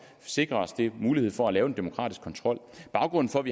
sikre os den mulighed for at have en demokratisk kontrol baggrunden for